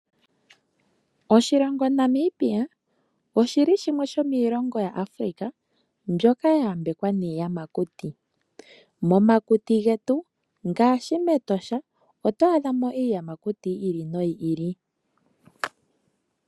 Oshilonga Namibia, oshili shimwe sho mo shilongo shomu Africa shoka sha ya mbekwa niiyamakuti. Moshilongo shetu omuna oshikunino shiinamwenyo shoka hashi ithanwa Etosha no shina iiyamakuti oyindji yayoolokathana.